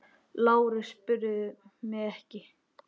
LÁRUS: Spyrðu mig ekki!